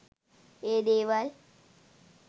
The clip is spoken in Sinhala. ඒ දේවල්